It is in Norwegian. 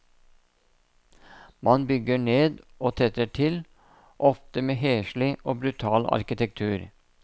Man bygger ned og tetter til, ofte med heslig og brutal arkitektur.